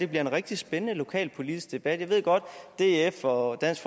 bliver en rigtig spændende lokalpolitisk debat jeg ved godt at df og dansk